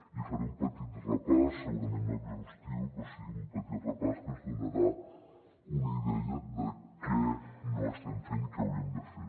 i hi faré un petit repàs segurament no exhaustiu però sí un petit repàs que ens donarà una idea de què no estem fent i què hauríem de fer